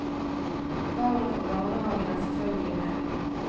Barna fra barnehagen er selvfølgelig med.